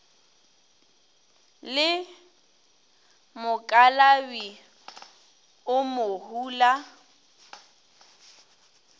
le mokalabi o mo hula